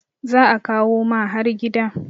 za a kawo ma har gida